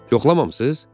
Yoxlamamısınız?